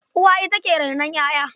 Uwa ita ke rainon ƴaƴa.